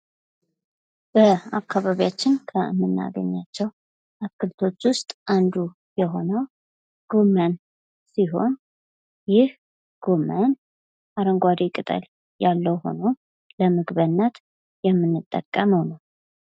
በአካባቢያችን ከምናገኛቸው አትክልቶች ውስጥ የሆነው ጎመን ሲሆን ይህ ጎመን አረንጓዴ ቅጠል ያለው ሆኖ ለምግብነት የምንጠቀመው ነው ።